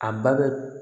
A ba bɛ